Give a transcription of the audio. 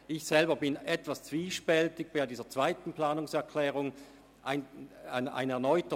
Ich persönlich stehe der zweiten Planungserklärung etwas zwiespältig gegenüber.